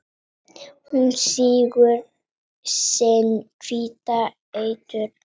Hún sýgur sinn hvíta eitur